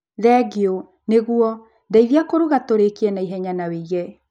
Thengio, nĩguo ndeithia kũruga tũrĩkie naihenya na wĩige